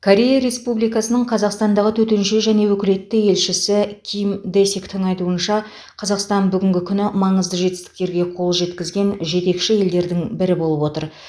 корея республикасының қазақстандағы төтенше және өкілетті елшісі ким дэсиктің айтуынша қазақстан бүгінгі күні маңызды жетістіктерге қол жеткізген жетекші елдердің бірі болып отыр